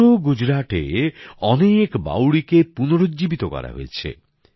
পুরো গুজরাটে অনেক বাউড়িকে পুনরুজ্জীবিত করা হয়েছে